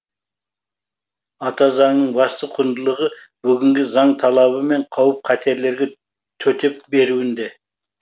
ата заңның басты құндылығы бүгінгі заң талабы мен қауіп қатерлерге төтеп беруінде